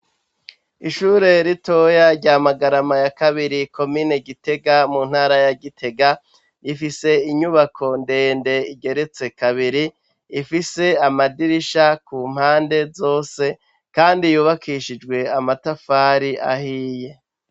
Ishure ritoya rya magarama ya kabiri ko mine gitega mu ntara ya gitega rifise inyubako ndende igeretse kabiri ifise amadirisha ku mpande zose, kandi yubakishijwe amatafari ahiye.